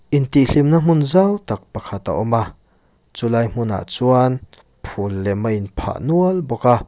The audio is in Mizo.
in tih hlimna hmun zau tak pakhat a awm a chu lai hmunah chuan phul lem a in phah nual bawk a.